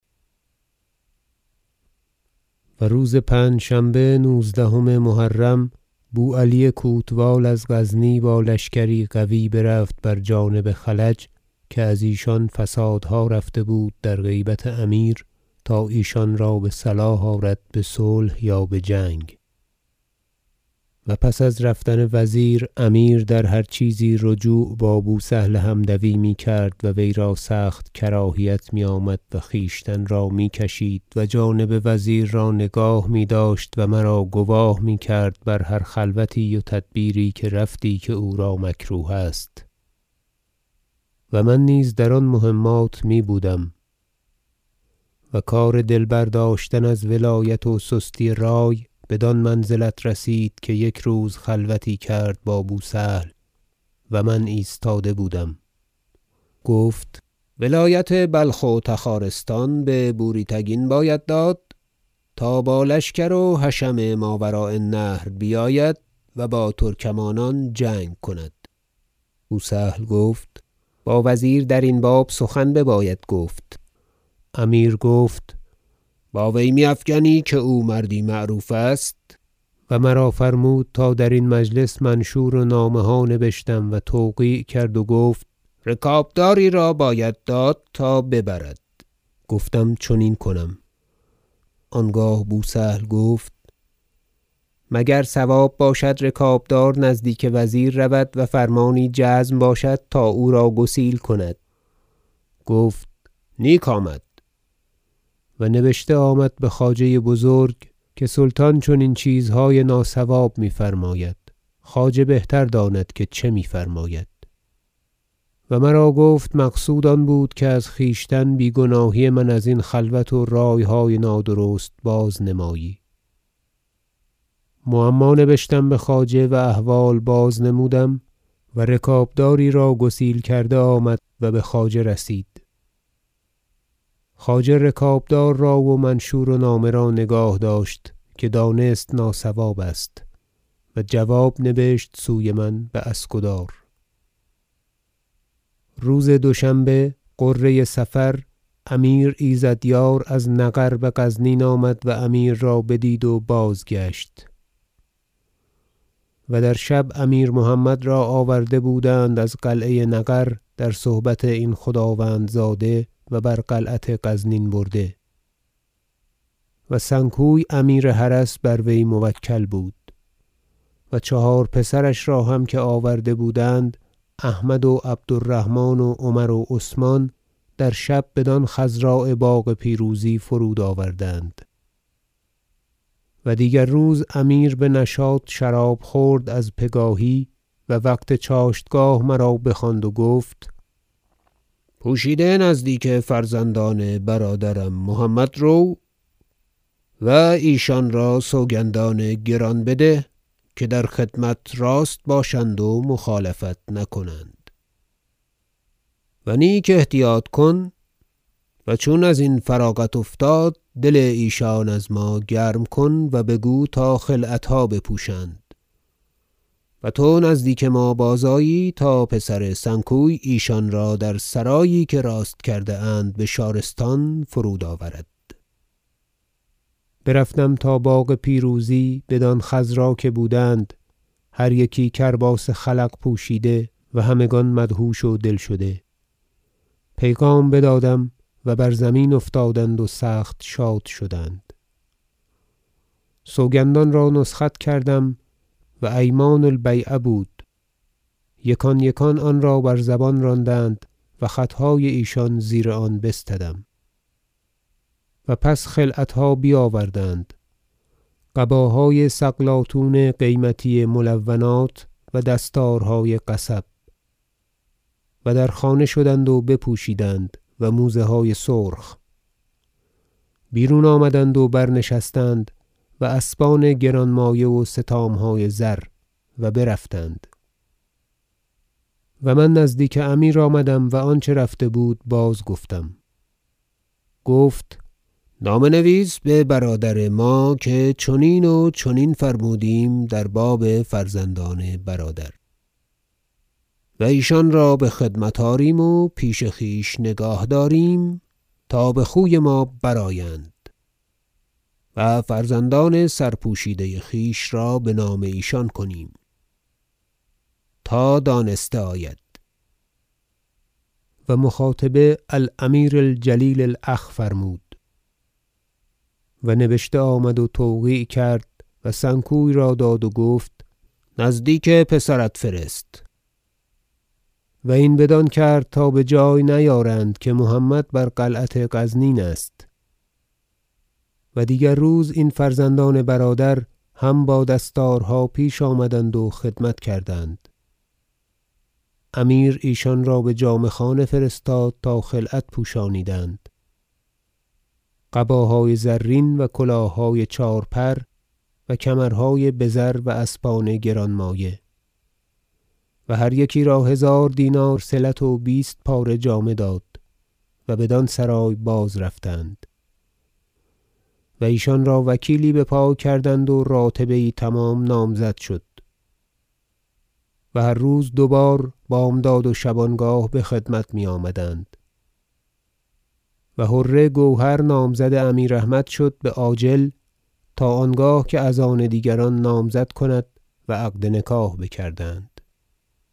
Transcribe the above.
و روز پنجشنبه نوزدهم محرم بو علی کوتوال از غزنی با لشکری قوی برفت بر جانب خلج که از ایشان فسادها رفته بود در غیبت امیر تا ایشان را بصلاح آرد بصلح یا بجنگ و پس از رفتن وزیر امیر در هر چیزی رجوع با بو سهل حمدوی میکرد و ویرا سخت کراهیت میآمد و خویشتن را میکشید و جانب وزیر را نگاه میداشت و مرا گواه میکرد بر هر خلوتی و تدبیری که رفتی که او را مکروه است و من نیز در آن مهمات می بودم و کار دل برداشتن از ولایت و سستی رای بدان منزلت رسید که یک روز خلوتی کرد با بو سهل و من ایستاده بودم گفت ولایت بلخ و تخارستان به بوری تگین باید داد تا با لشکر و حشم ماوراء النهر بیاید و با ترکمانان جنگ کند بو سهل گفت با وزیر درین باب سخن بباید گفت امیر گفت با وی میافگنی که او مردی معروف است و مرا فرمود تا درین مجلس منشور و نامه ها نبشتم و توقیع کرد و گفت رکابداری را باید داد تا ببرد گفتم چنین کنم آنگاه بو سهل گفت مگر صواب باشد رکابدار نزدیک وزیر رود و فرمانی جزم باشد تا او را گسیل کند گفت نیک آمد و نبشته آمد بخواجه بزرگ که سلطان چنین چیزهای ناصواب میفرماید خواجه بهتر داند که چه میفرماید و مرا گفت مقصود آن بود که از خویشتن بیگناهی من ازین خلوت و رایهای نادرست بازنمایی معما نبشتم بخواجه و احوال بازنمودم و رکابداری را گسیل کرده آمد و بخواجه رسید خواجه رکابدار را و منشور و نامه را نگاه داشت که دانست که ناصواب است و جواب نوشت سوی من باسکدار روز دوشنبه غره صفر امیر ایزدیار از نغر بغزنین آمد و امیر را بدید و بازگشت و در شب امیر محمد را آورده بودند از قلعه نغر در صحبت این خداوندزاده و بر قلعت غزنین برده و سنکوی امیر حرس بر وی موکل بود چهار پسرش را که هم آورده بودند احمد و عبد الرحمن و عمر و عثمان در شب بدان خضراء باغ پیروزی فرود آوردند و دیگر روز امیر بنشاط شراب خورد از پگاهی و وقت چاشتگاه مرا بخواند و گفت پوشیده نزدیک فرزندان برادرم محمد رو و ایشان را سوگندان گران بده که در خدمت راست باشند و مخالفت نکنند و نیک احتیاط کن و چون ازین فراغت افتاد دل ایشان از ما گرم کن و بگو تا خلعتها بپوشند و تو نزدیک ما بازآیی تا پسر سنکوی ایشان را در سرایی که راست کرده اند بشارستان فرود آورد برفتم تا باغ پیروزی بدان خضراء که بودند هر یکی کرباس خلق پوشیده و همگان مدهوش و دل شده پیغام بدادم و بر زمین افتادند و سخت شاد شدند سوگندان را نسخت کردم و ایمان البیعة بود یکان یکان آنرا بر زبان راندند و خطهای ایشان زیر آن بستدم و پس خلعتها بیاوردند قباهای سقلاطون قیمتی ملونات و دستارهای قصب و در خانه شدند و بپوشیدند و موزه های سرخ بیرون آمدند و برنشستند و اسبان گرانمایه و ستامهای زر و برفتند و من نزدیک امیر آمدم و آنچه رفته بود بازگفتم گفت نامه نویس ببرادر ما که چنین و چنین فرمودیم در باب فرزندان برادر و ایشان را بخدمت آریم و پیش خویش نگاه داریم تا بخوی ما برآیند و فرزندان سرپوشیده خویش را بنام ایشان کنیم تا دانسته آید و مخاطبه الأمیر الجلیل الأخ فرمود و نبشته آمد و توقیع کرد و سنکوی را داد و گفت نزدیک پسرت فرست و این بدان کرد تا بجای نیارند که محمد بر قلعت غزنین است و دیگر روز این فرزندان برادر هم با دستارها پیش آمدند و خدمت کردند امیر ایشان را بجامه خانه فرستاد تا خلعت پوشانیدند قباهای زرین و کلاههای چهار پر و کمرهای بزر و اسبان گرانمایه و هر یکی را هزار دینار صلت و بیست پاره جامه داد و بدان سرای بازرفتند و ایشان را وکیلی بپای کردند و راتبه یی تمام نامزد شد و هر روز دوبار بامداد و شبانگاه بخدمت میآمدند و حره گوهر نامزد امیر احمد شد بعاجل تا آنگاه که از آن دیگران نامزد کند و عقد نکاح بکردند